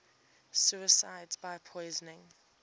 suicides by poison